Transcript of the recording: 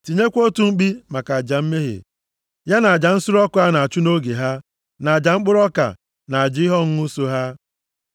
Tinyekwa otu mkpi maka aja mmehie, ya na aja nsure ọkụ a na-achụ nʼoge ha, na aja mkpụrụ ọka, na aja ihe ọṅụṅụ so ha.